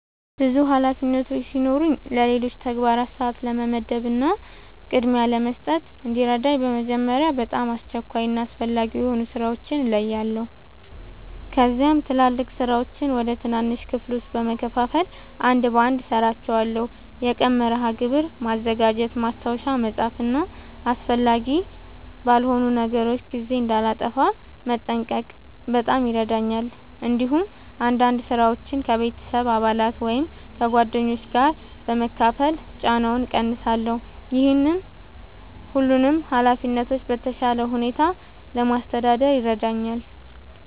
ብዙ ኃላፊነቶች ሲኖሩኝ ለሌሎች ተግባራት ሰአት ለመመደብ እና ቅድሚያ ለመስጠት እንዲረዳኝ በመጀመሪያ በጣም አስቸኳይ እና አስፈላጊ የሆኑ ሥራዎችን እለያለሁ። ከዚያም ትላልቅ ሥራዎችን ወደ ትናንሽ ክፍሎች በመከፋፈል አንድ በአንድ እሠራቸዋለሁ። የቀን መርሃ ግብር ማዘጋጀት፣ ማስታወሻ መጻፍ እና አስፈላጊ ባልሆኑ ነገሮች ጊዜ እንዳላጠፋ መጠንቀቅ በጣም ይረዳኛል። እንዲሁም አንዳንድ ሥራዎችን ከቤተሰብ አባላት ወይም ከጓደኞች ጋር በመካፈል ጫናውን እቀንሳለሁ። ይህ ሁሉንም ኃላፊነቶች በተሻለ ሁኔታ ለማስተዳደር ይረዳኛል።